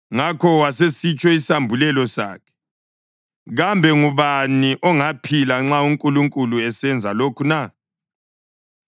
Ngakho wasitsho isambulelo sakhe: “Kambe ngubani ongaphila nxa uNkulunkulu esenza lokhu na?